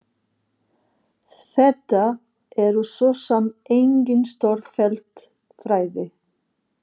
Þetta eru svo sem engin stórfelld fræði.